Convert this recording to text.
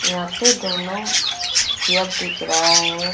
यहां पे दोनों चेक दिख रहा है.